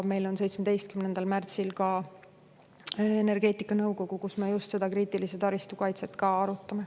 Meil on 17. märtsil energeetikanõukogu, kus me just seda kriitilise tähtsusega taristu kaitset arutame.